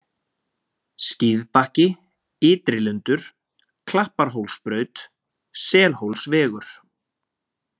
Skíðbakki, Ytrilundur, Klapparhólsbraut, Selhólsvegur